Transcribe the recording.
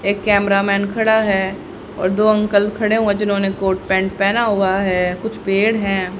एक cameraman खड़ा है और दो अंकल खड़े हुए जिन्होंने कोट पैंट पहना हुआ है कुछ पेड़ है।